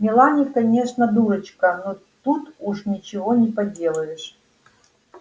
мелани конечно дурочка но тут уж ничего не поделаешь